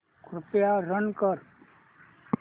कृपया रन कर